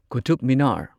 Qutub Minar